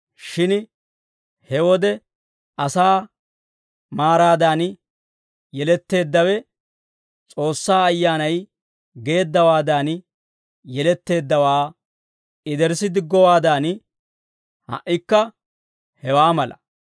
Shin he wode asaa maaraadan yeletteeddawe, S'oossaa Ayyaanay geeddawaadan yeletteeddawaa yederssi diggowaadan, ha"ikka hewaa mala.